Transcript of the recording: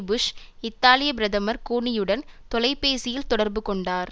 push இத்தாலிய பிரதமர் கூனியுடன் தொலைபேசியில் தொடர்பு கொண்டார்